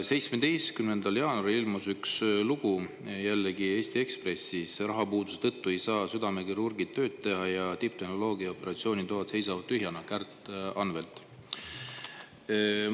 17. jaanuaril ilmus Kärt Anveltilt üks lugu jällegi Eesti Ekspressis: "Rahapuuduse tõttu ei saa südamekirurgid tööd teha ja tipptehnoloogiaga operatsioonitoad seisavad tühjalt".